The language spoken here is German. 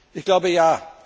Ich glaube ja.